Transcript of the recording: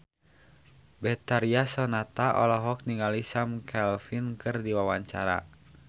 Betharia Sonata olohok ningali Sam Claflin keur diwawancara